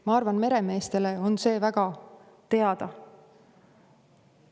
Ma arvan, et meremeestele on see väga hästi teada.